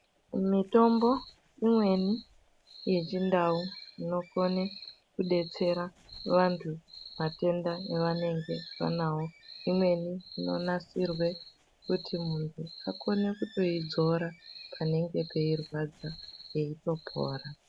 Mitombo imweni yechindau inokona kudetsera vantu Matenda avanenge anawa imweni unotenda kuidzora panenge peirwadsa pandopora.